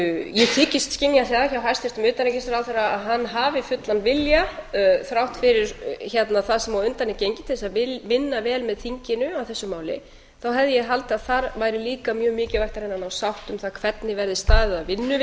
ég þykist skynja það hjá hæstvirtum utanríkisráðherra að hann hafi fullan vilja þrátt fyrir það sem á undan er gengið til þess að vinna vel með þinginu að þessu máli þá hefði ég haldið að þar væri líka mjög mikilvægt að reyna að ná sátt um það hvernig verði staðið að